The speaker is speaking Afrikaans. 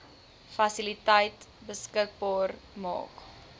fasiliteite beskikbaar maak